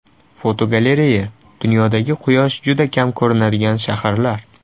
Fotogalereya: Dunyodagi quyosh juda kam ko‘rinadigan shaharlar.